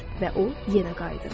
və o yenə qayıdır.